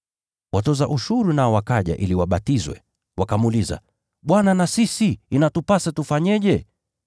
Watoza ushuru nao wakaja ili wabatizwe, wakamuuliza, “Bwana na sisi inatupasa tufanyeje?”